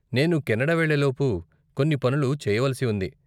నేను కెనడా వెళ్ళేలోపు కొన్ని పనులు చెయ్యవలిసి ఉంది.